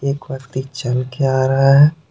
एक व्यक्ति चल के आ रहा है।